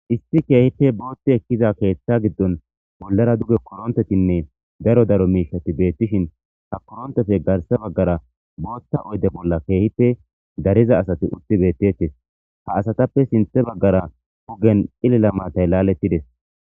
Issi keehippe booti ekiza keetha gidon bollara duge korontetinne daro daro mishati beetishin ha koronteppe garsa bagara bootha oyde bolla dariza asati utti beetetes. Ha asatappe sintha bagara ogen cililamaatay laaletides.